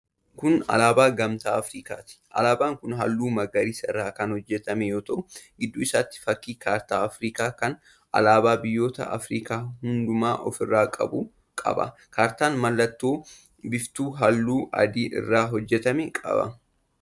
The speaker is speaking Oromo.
Kun alaabaa Gamtaa Afirikaati. Alaabaan kun halluu magariisa irraa kan hojjetame yoo ta'u, gidduu isaatiin fakkii kaartaa Afirikaa kan alaabaa biyoota Afirikaa hundumaa ofirraa qabu qaba. Kaartaan mallattoo biiftuu halluu adii irraa hojjetame qaba.